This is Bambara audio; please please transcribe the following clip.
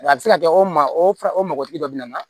A bɛ se ka kɛ o maa o fa o mɔgɔtigi dɔ bɛ na